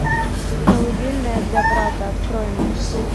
колыбельная для брата открой мне